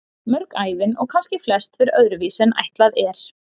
Mörg ævin, og kannski flest, fer öðru vísi en ætlað er.